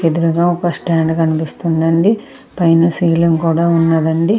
ఎదురుగా ఒక స్టాండ్ కనిపిస్తుంది అండి పైన సీలింగ్ కూడా ఉన్నదండి. >